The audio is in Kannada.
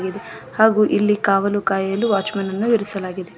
ಹಾಗೂ ಇಲ್ಲಿ ಕಾವಲು ಕಾಯಲು ವಾಚ್ಮ್ಯಾನನ್ನು ಇರಿಸಲಾಗಿದೆ.